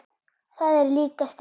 Það er líka stríð.